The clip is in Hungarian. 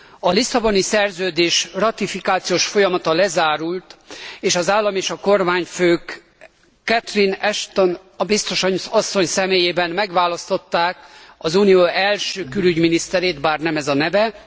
A Lisszaboni Szerződés ratifikációs folyamata lezárult, és az állam és a kormányfők Catherine Ashton biztos asszony személyében megválasztották az Unió első külügyminiszterét, bár nem ez a neve.